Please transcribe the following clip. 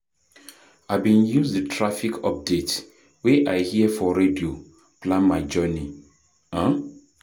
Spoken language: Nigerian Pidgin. I bin use di traffic updates wey I hear for radio plan my journey. um